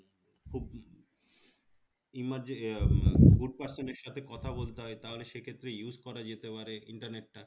emerge এ good person এর সাথে কথা বলতে হয় তাহলে সেক্ষেত্রে use করা যেতে পারে internet টা